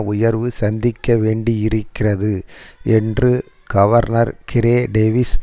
உயர்வை சந்திக்க வேண்டியிருக்கிறது என்று கவர்னர் கிரே டேவிஸ்